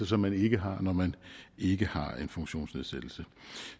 som man ikke har når man ikke har en funktionsnedsættelse